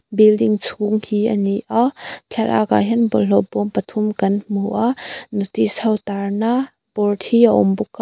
building chhung hi a ni a thlalak ah hian bawlhhlawh bawm pathum kan hmu a notice ho tar na board hi a awm bawk a.